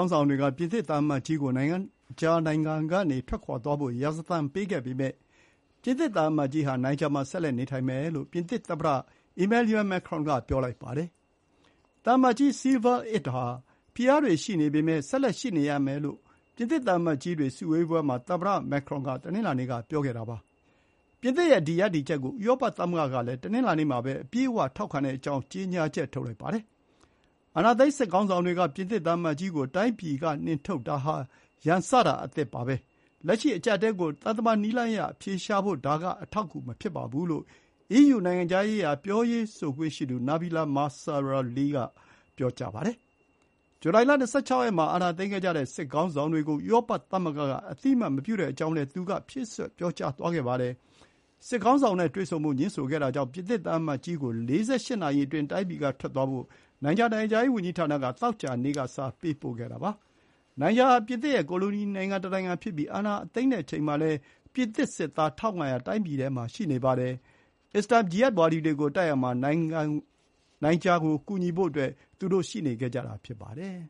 င်းဆောင်တွေက ပြင်သစ်သံအမတ်ကြီးကို နိုင်ဂျာနိုင်ငံကနေ ထွက်ခွါသွားဖို့ ရာဇသံပေးခဲ့ပေမဲ့ ပြင်သစ်သံအမတ်ကြီးဟာ နိုင်ဂျာမှာ ဆက်လက်နေထိုင်မယ်လို့ ပြင်သစ်သမ္မတ Emmanuel Macron က ပြောပါတယ်။ သံအမတ်ကြီး Sylvain Itte ဟာ ဖိအားတွေရှိပေမဲ့ ဆက်လက်ရှိနေမယ်လို့ ပြင်သစ်သံအမတ်ကြီးတွေစုဝေးပွဲမှာ သမ္မတ Macron က တနင်္လာနေ့က ပြောပါတယ်။ ပြင်သစ်ရဲ့ ဒီ ရပ်တည်ချက်ကို ဥရောပသမဂ္ဂကလည်း တနင်္လာနေ့မှာပဲ အပြည့်အဝထောက်ခံကြောင်း ကြေညာချက်ထုတ်ပါတယ်။ “အာဏာသိမ်း စစ်ခေါင်းဆောင်တွေက ပြင်သစ်သံအမတ်ကြီးကို တိုင်းပြည် က နှင်ထုတ်တာဟာ ရန်စတာအသစ်ပါပဲ။ လက်ရှိ အကြပ်အတည်းကို သံတမန်နည်းလမ်းအရအဖြေရှာဖို့ ဒါက အထောက်အကူမဖြစ်ပါဘူးလို့ EU နိုင်ငံခြားရေးရာ ပြောရေးဆိုခွင့်ရှိသူ နာဘီလာ မာဆရာလီ (Nabila Massrali )က ပြောပါတယ်။ ဇူလိုင် ၂၆ ရက်မှာ အာဏာသိမ်းခဲ့ကြတဲ့ စစ်ခေါင်းဆောင်တွေကို ဥရောပ သမဂ္ဂက အသိအမှတ်မပြုကြောင်း သူက ဖြည့်စွက်ပြောကြားသွားပါတယ်။ စစ်ခေါင်းဆောင်တွေနဲ့တွေ့ဆုံဖို့ ငြင်းဆိုခဲ့တာကြောင့် ပြင်သစ်သံအမတ်ကြီး ကို ၄၈ နာရီအတွင်း တိုင်းပြည်ကထွက်သွားဖို့ နိုင်ဂျာနိုင်ငံခြားရေး ဝန်ကြီးဌာနက သောကြာနေ့က စာပေးပို့ခဲ့တာဖြစ်ပါတယ်။ နိုင်ဂျာဟာ ပြင်သစ်ရဲ့ကိုလိုနီ နိုင်ငံတနိုင်ငံဖြစ်ခဲ့ပြီး အာဏာသိမ်းတဲ့အချိန်မှာလည်း ပြင်သစ်စစ်သား ၁,၅၀၀ တိုင်းပြည်ထဲမှာရှိနေပါတယ်။ အစ္စလာမ် ဂျီဟတ်ဝါဒီတွေကိုတိုက်ရာမှာ နိုင်ဂျာကို ကူညီဖို့ သူတို့ ရှိနေခဲ့ကြတာ ဖြစ်ပါတယ်